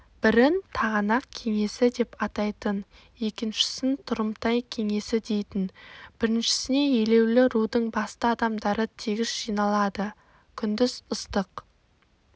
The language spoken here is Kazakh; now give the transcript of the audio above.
бірін тағанақ кеңесідеп атайтын екіншісін тұрымтай кеңесідейтін біріншісіне елеулі рудың басты адамдары тегіс жиналады күндіз ыстық